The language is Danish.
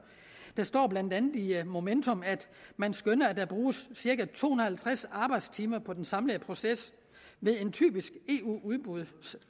der står blandt andet i momentum at man skønner at der bruges cirka to og halvtreds arbejdstimer på den samlede proces ved en typisk eu udbudsproces